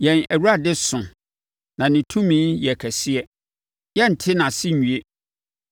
Yɛn Awurade so, na ne tumi yɛ kɛseɛ; yɛrente nʼase nwie.